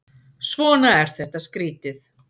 Svona er þetta skrýtið.